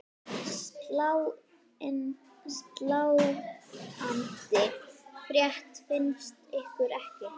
Sláandi frétt finnst ykkur ekki?